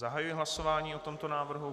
Zahajuji hlasování o tomto návrhu.